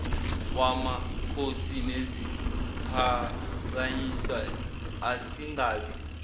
wamakhosi neziphakanyiswa asingabi